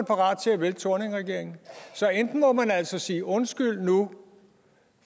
parat til at vælte thorningregeringen så enten må man altså sige undskyld nu